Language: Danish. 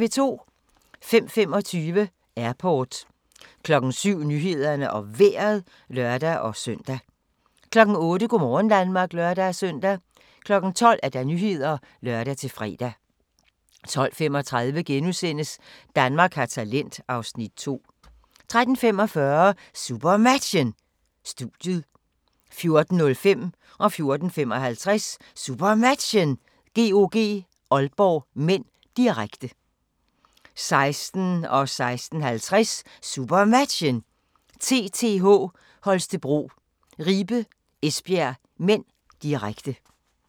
05:25: Airport 07:00: Nyhederne og Vejret (lør-søn) 08:00: Go' morgen Danmark (lør-søn) 12:00: Nyhederne (lør-fre) 12:35: Danmark har talent (Afs. 2)* 13:45: SuperMatchen: Studiet 14:05: SuperMatchen: GOG-Aalborg (m), direkte 14:55: SuperMatchen: GOG-Aalborg (m), direkte 16:00: SuperMatchen: TTH Holstebro - Ribe-Esbjerg (m), direkte 16:50: SuperMatchen: TTH Holstebro - Ribe-Esbjerg (m), direkte